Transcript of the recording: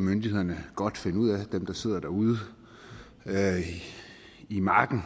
myndighederne godt kan finde ud af altså dem der sidder ude i marken